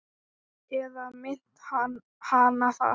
Eða minnti hana það?